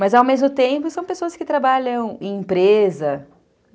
Mas, ao mesmo tempo, são pessoas que trabalham em empresa